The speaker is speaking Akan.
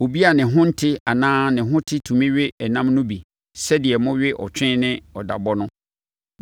Obi a ne ho te anaa ne ho nte tumi we ɛnam no bi sɛdeɛ mowe ɔtwe ne ɔdabɔ no.